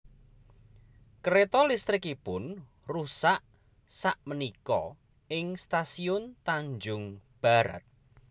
Kereto listrikipun rusak sak menika ing stasiun Tanjung Barat